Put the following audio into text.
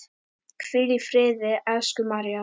Hvíl í friði, elsku María.